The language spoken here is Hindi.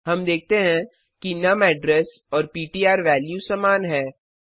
हम देखते हैं कि नुम ऐड्रेस और पिट्र वैल्यू समान है